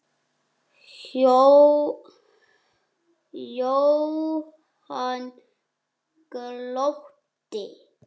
Jóhann glotti.